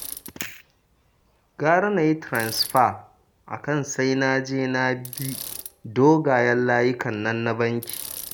Gara na yi tiransifa a kan sai na je na bi dogayen layukan nan na banki